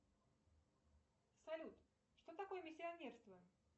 салют что такое миссионерство